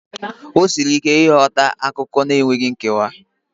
O siri ike ịghọta akụkọ enweghị nkewa.